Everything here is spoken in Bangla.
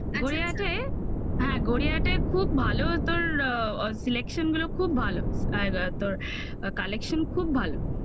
হ্যাঁ গড়িয়াহাটায় খুব ভালো তোর selection গুলো খুব ভালো. তোর collection খুব ভালো